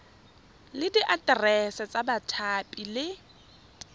le diaterese tsa bathapi le